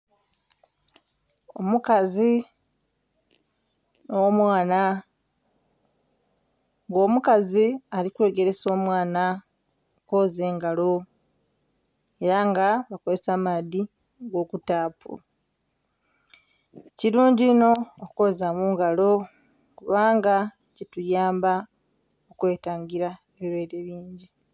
Omukazi nh'omwana nga omukazi ali kwegeresa omwana okwoza engalo ela nga bakozesa maadhi ag'okutaapu. Kilungi inho okwoza mu ngalo kubanga kituyamba okwetangila ebilwaire bingi.